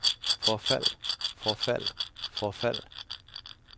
forfald forfald forfald